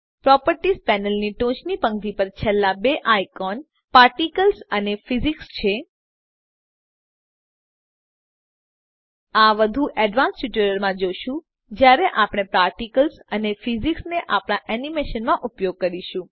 properties પેનલની ટોચની પંક્તિ પર છેલ્લા બે આઇકો પાર્ટિકલ્સ અને ફિઝિક્સ છે આ વધુ એડવાન્સ ટ્યુટોરિયલ્સ માં જોશું જયારે આપણે પાર્ટિકલ્સ અને Physicsને આપણા એનીમેશન માં ઉપયોગ કરીશું